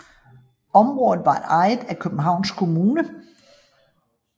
Området var ejet af Københavns Kommune